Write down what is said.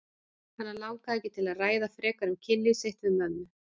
Hana langaði ekki til að ræða frekar um kynlíf sitt við mömmu.